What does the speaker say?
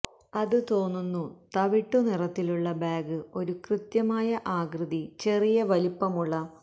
അത് ത്ത തോന്നുന്നു തവിട്ടുനിറത്തിലുള്ള ബാഗ് ഒരു കൃത്യമായ ആകൃതി ചെറിയ വലിപ്പമുള്ള